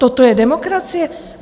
Toto je demokracie?